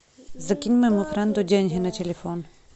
закинь моему френду деньги на телефон